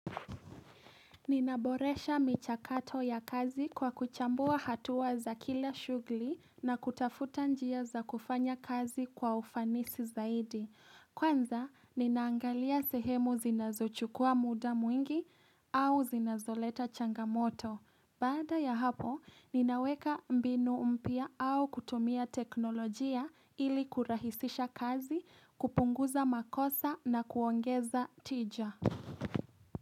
Ninaboresha michakato ya kazi kwa kuchambua hatua za kila shughuli na kutafuta njia za kufanya kazi kwa ufanisi zaidi. Kwanza, ninaangalia sehemu zinazochukua muda mwingi au zinazoleta changamoto. Bada ya hapo, ninaweka mbinu mpya au kutumia teknolojia ili kurahisisha kazi, kupunguza makosa na kuongeza tija.